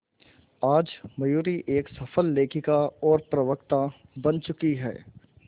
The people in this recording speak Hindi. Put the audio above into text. आज मयूरी एक सफल लेखिका और प्रवक्ता बन चुकी है